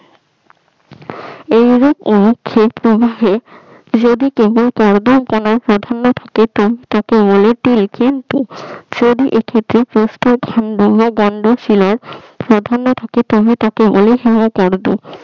এরকম ক্ষেত্র প্রভাবে যদি তোমায়